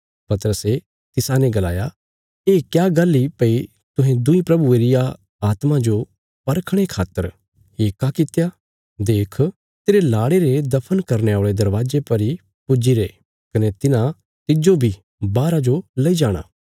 पतरसे तिसाने गलाया ये क्या गल्ल इ भई तुहें दुईं प्रभुये रिया आत्मा जो परखणे खातर येक्का कित्या देख तेरे लाड़े रे दफन करने औल़े दरवाजे पर इ पुज्जीरे कने तिन्हां तिज्जो बी बाहरा जो लई जाणा